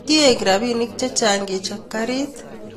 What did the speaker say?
Kiek rabinik chechang kechop garit